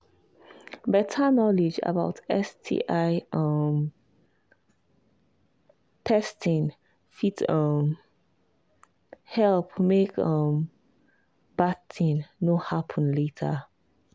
better knowledge about sti um testing fit um help make um bad thing no happen later